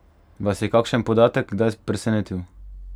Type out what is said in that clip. Vas je kakšen podatek kdaj presenetil?